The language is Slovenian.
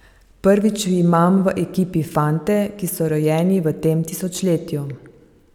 Prvič imam v ekipi fante, ki so rojeni v tem tisočletju.